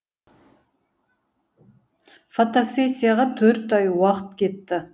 фотосессияға төрт ай уақыт кетті